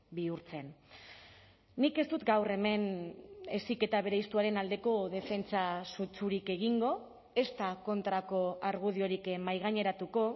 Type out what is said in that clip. bihurtzen nik ez dut gaur hemen heziketa bereiztuaren aldeko defentsa sutsurik egingo ezta kontrako argudiorik mahaigaineratuko